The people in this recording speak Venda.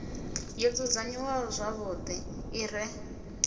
yo dzudzanyiwaho zwavhuḓi i re